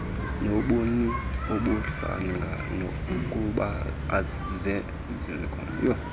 nobuni ubuhlanga nokhubazeko